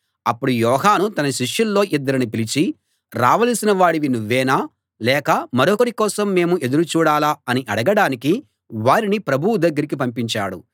అప్పుడు యోహాను తన శిష్యుల్లో ఇద్దరిని పిలిచి రావలసిన వాడివి నువ్వేనా లేక మరొకరి కోసం మేము ఎదురు చూడాలా అని అడగడానికి వారిని ప్రభువు దగ్గరికి పంపించాడు